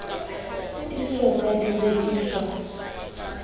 di so ka di rekiswa